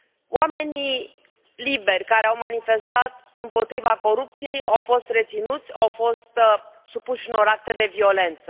Oamenii liberi care au manifestat împotriva corupției au fost reținuți, au fost supuși unor acte de violență.